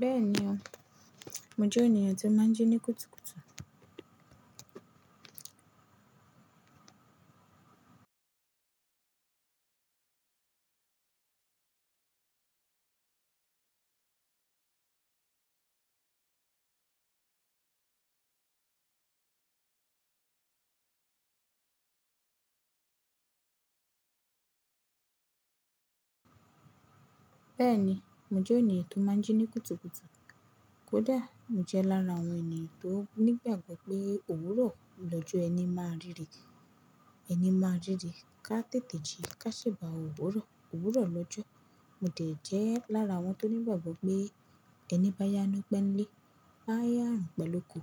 Bẹ́ẹ̀ni, mo jẹ́ ènìyàn tó máa ń jí ní kùtùkùtù. Kódà mo jẹ lára àwọn ènìyàn tó nígbàgbọ́ pé òwúrọ̀ lọ́jọ́ ẹni máa rìre. Ẹni máa rìre, ká tètè jí, ká ṣèbà òwúrọ̀. Òwúrọ̀ lọ́jọ́, mo de jẹ́ lára àwọn tó nígbàgbọ́ pé ẹni bá yá ni pe ńlé. Á yá orùn, pe l'òkò.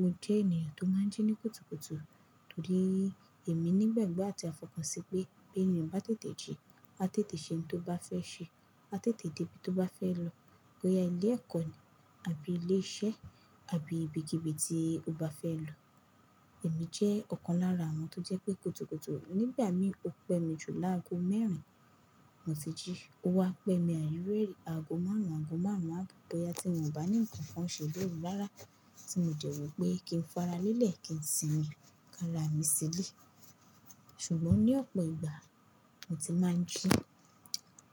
Mo jẹ́ ènìyàn tó máa ń jí ní kùtùkùtù torí èmi nígbàgbọ́ àti àfọkàn sí pé bí ènìyàn bá tètè jí, á tètè ṣe ohun tó bá fẹ́ ṣe, á tètè dé ibi tó bá fẹ́ lọ, bóyá ilé ẹ̀kọ́ ni àbí ilé iṣẹ́ àbí ibi kibi tí ó bá fẹ́ lọ. Èmi jẹ́ ọ̀kan lára àwọn tó jẹ́ pé kùtùkùtù. Nígbà mí ò pẹ́ mi jù láago mẹ́rin, mo ti jí. Ó wá pẹ́ mi àìrúérì, aago márùn-ún, aago márùn-ún abo bóyá tí wọ́n bà mí nǹkan kan ṣe lóru rára tí mo dee wọ́ pé kí n fara lélẹ̀ kí n simi ká ra mi sílé. Ṣùgbọ́n ní ọ̀pọ̀ ìgbà mo ti máa ń jí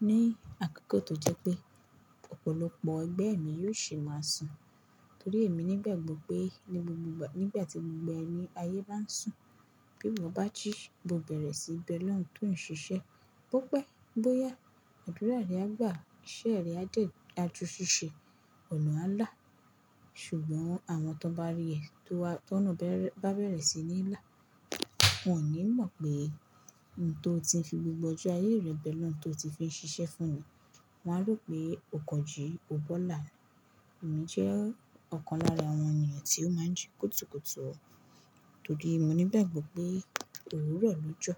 ní àkókò tó jẹ́ pé ọ̀pọ̀lọpọ̀ ẹgbẹ́ mi yóò sì máa sùn torí èmi nígbàgbọ́ pé ní gbogbo ìgbà, nígbà tí gbogbo ayé bá ń sùn, bí mo bá jí, mo bẹ̀rẹ̀ síí bẹ ọlọrun tòún ṣiṣẹ́. Bó pẹ́, bó yá, àdúrà rẹ á gbà, iṣẹ́ rẹ á dee, aju ṣiṣe, ọnà á là. Ṣùgbọ́n àwọn tó bá rí ẹ, tó ọna bá bẹ̀rẹ̀ sí ní là, wọ́n ò ní mọ̀ pé ohun tó ti fi gbogbo ọjọ́ ayé rẹ bẹ ọlọrun tó ti fi ń ṣiṣẹ́ fún ni. Wọn á rò pé o kan jì, o bọ́là. Èmi jẹ́ ọ̀kan lára àwọn ènìyàn tí ó máa ń jí kùtùkùtù torí mo nígbàgbọ́ pé òwúrọ̀ lọ́jọ́